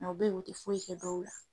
o be yen o ti foyi kɛ dɔw la